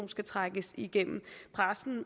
skal trækkes igennem pressen